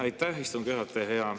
Aitäh, istungi juhataja!